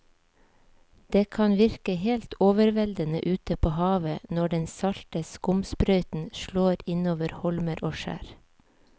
Det kan virke helt overveldende ute ved havet når den salte skumsprøyten slår innover holmer og skjær.